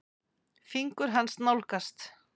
Fingur hans nálgast.